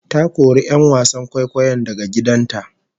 Ta kori 'yan wasan kwaikwayon daga gidan ta